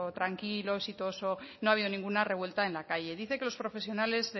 tranquilo exitoso no ha habido ninguna revuelta en la calle dice que los profesionales